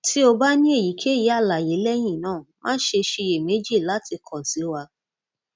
ti o ba ni eyikeyi alaye lẹhinna ma ṣe ṣiyemeji lati kọ si wa